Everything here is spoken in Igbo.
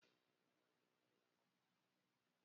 Onye nwere ego ekwesịghị izu osi.